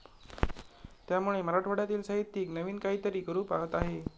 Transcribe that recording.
त्यामुळे मराठवाड्यातील साहित्यिक नवीन काहीतरी करू पाहत आहे,